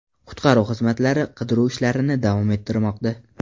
Qutqaruv xizmatlari qidiruv ishlarini davom ettirmoqda.